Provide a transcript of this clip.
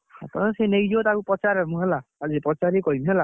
ତମେ ସେ ନେଇଯିବ ତାକୁ ପଚାରେ ମୁଁ ହେଲା, ଆଜି ପଚାରିକି କହିବି ହେଲା।